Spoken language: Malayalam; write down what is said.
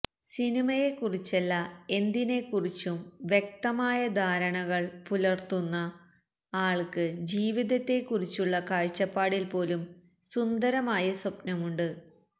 സിനിമയെക്കുറിച്ചല്ല എന്തിനെക്കുറിച്ചും വ്യക്തമായ ധാരണകള് പുലര്ത്തുന്ന ആള്ക്ക് ജീവിതത്തെക്കുറിച്ചുള്ള കാഴ്ചപ്പാടില് പോലും സുന്ദരമായ സ്വപ്നമുണ്ട്